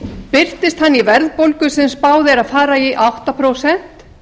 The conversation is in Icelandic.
birtist hann í verðbólgu sem spáð er að fari í átta prósent